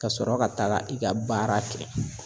Kasɔrɔ ka taga i ka baara kɛ.